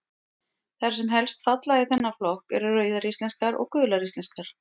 Þær sem helst falla í þennan flokk eru Rauðar íslenskar og Gular íslenskar.